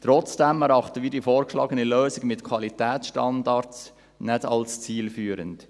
Trotzdem erachten wir die vorgeschlagene Lösung mit Qualitätsstandards nicht als zielführend.